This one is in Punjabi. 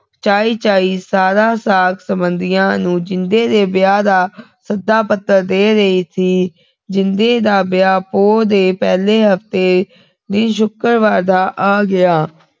ਚਾਈਂ ਚਾਈਂ ਸਾਰ ਸਾਕ ਸੰਬੰਧੀਆਂ ਨੂੰ ਜਿੰਦੇ ਦੇ ਵਿਆਹ ਦਾ ਸੱਦਾ ਪੱਤਰ ਦੇ ਰਹੀ ਸੀ ਜਿੰਦੇ ਦਾ ਵਿਆਹ ਪੋਹ ਦੇ ਪਹਿਲੇ ਹਫਤੇ ਦੇ ਸ਼ੁਕਰਵਾਰ ਦਾ ਆ ਗਿਆ